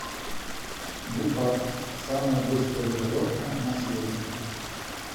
гепард самое быстрое животное на свете